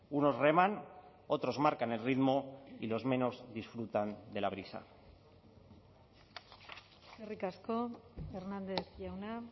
unos reman otros marcan el ritmo y los menos disfrutan de la brisa eskerrik asko hernández jauna